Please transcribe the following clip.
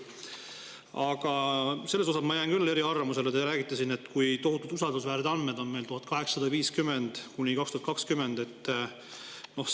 Aga selles ma jään küll teiega eri arvamusele, et kui te räägite, kui tohutult usaldusväärsed andmed on meil aastate 1850–2020 kohta.